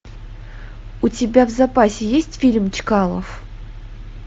у тебя в запасе есть фильм чкалов